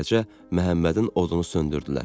Beləcə Məhəmmədin odunu söndürdülər.